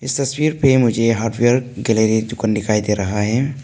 इस तस्वीर पे मुझे हार्डवेयर गैलरी दुकान दिखाई दे रहा है।